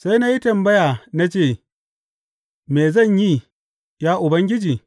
Sai na yi tambaya, na ce, Me zan yi, ya Ubangiji?’